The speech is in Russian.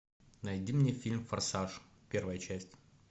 найди мне фильм форсаж первая часть